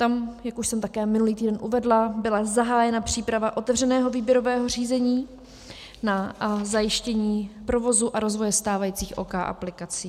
Tam, jak už jsem také minulý týden uvedla, byla zahájena příprava otevřeného výběrového řízení na zajištění provozu a rozvoje stávajících OK aplikací.